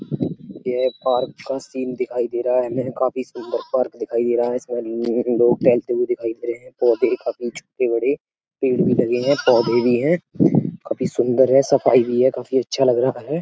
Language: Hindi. यह एक पार्क का सीन दिखाई दे रहा है। हमें काफी सुंदर पार्क दिखाई दे रहा है। इसमे लोग टहलते हुए दिखाई दे रहे हैं। पौधे हैं काफी छोटे बड़े है पेड़ भी लगे हैं पौधे भी हैं। काफी सुंदर है सफाई भी है। काफी अच्छा लग रहा है।